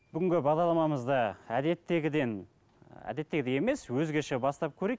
бүгінгі бағдарламамызды әдеттегіден ы әдеттегідей емес өзгеше бастап көрейік